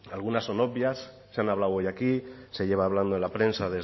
algunas son obvias se han hablado hoy aquí se lleva hablando en la prensa